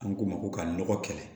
An k'o ma ko ka nɔgɔ kɛlɛ